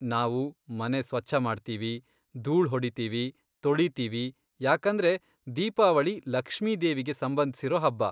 ನಾವು ಮನೆ ಸ್ವಚ್ಛ ಮಾಡ್ತೀವಿ, ಧೂಳ್ ಹೊಡಿತೀವಿ, ತೊಳಿತೀವಿ ಯಾಕಂದ್ರೆ ದೀಪಾವಳಿ ಲಕ್ಷ್ಮಿ ದೇವಿಗೆ ಸಂಬಂಧ್ಸಿರೋ ಹಬ್ಬ.